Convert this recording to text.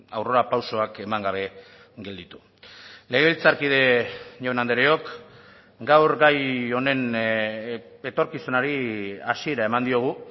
aurrera pausoak eman gabe gelditu legebiltzarkide jaun andreok gaur gai honen etorkizunari hasiera eman diogu